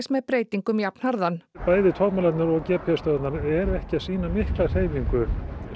með breytingum jafnharðan bæði togmælarnir og g p s stöðvarnar eru ekki að sýna mikla hreyfingu